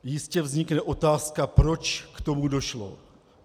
Jistě vznikne otázka, proč k tomu došlo.